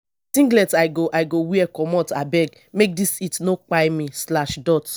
na singlet i go i go wear comot abeg make dis heat no kpai me.